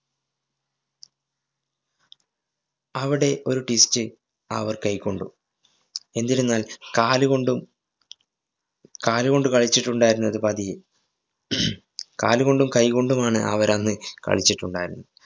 അവിടെ ഒരു twist അവര്‍ കൈകൊണ്ടു. എന്തെരുന്നാല്‍ കാലുകൊണ്ടും കാലുകൊണ്ട്‌ കളിച്ചിട്ടുണ്ടായിരുന്നത് പതിയെ കാലുകൊണ്ടും കൈകൊണ്ടുമാണ് അവരന്നു കളിച്ചിട്ടുണ്ടായിരുന്നത്.